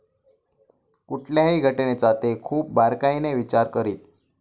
कुठल्याही घटनेचा ते खूप बारकाईने विचार करीत.